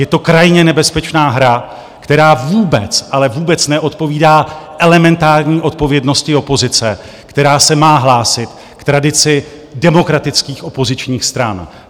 Je to krajně nebezpečná hra, která vůbec, ale vůbec neodpovídá elementární odpovědnosti opozice, která se má hlásit k tradici demokratických opozičních stran.